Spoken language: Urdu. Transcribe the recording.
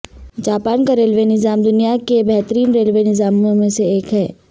جاپان کا ریلوے نظام دنیا کے بہترین ریلوے نظاموں میں سے ایک ہے